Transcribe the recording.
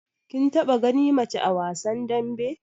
Kin taba gani mace a wasan dambe?